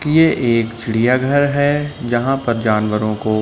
ये एक चिड़िया घर है जहाँ पर जानवरों को --